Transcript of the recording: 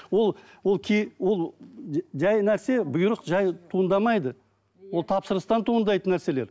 ол ол ол жай нәрсе бұйрық жай туындамайды ол тапсырыстан туындайтын нәрселер